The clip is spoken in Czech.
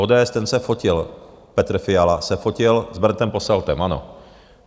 ODS, ten se fotil - Petr Fiala se fotil s Berndem Posseltem, ano.